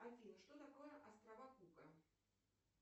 афина что такое острова кука